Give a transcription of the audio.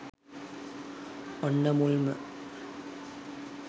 ඔන්න මුල්ම